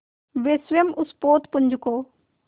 वे स्वयं उस पोतपुंज को